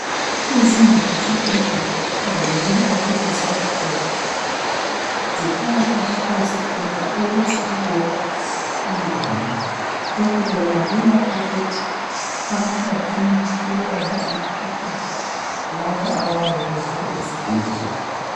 Izindlu zesibhedlela kukhangelelwe ukuthi zakhiwe zifakwe amafasitela ukuze umoya ungene lokhu kwenqabela ukuthi abantu bacina bethelelana umkhuhlane labo abayabe beze esibhedlela.